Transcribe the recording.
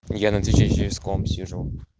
я на твиче через комп сижу